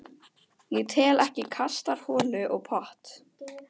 Ég tel ekki kastarholu og pott.